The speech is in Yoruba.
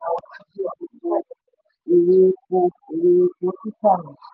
ìlọ sókè owó ìrànwọ́ ti gbé gbogbo èrè epo èrè epo títà mì.